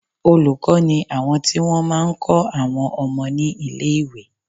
Olùkọ́ ni àwọn tí wọ́n máa ń kọ́ àwọn ọmọ ní ilé-ìwé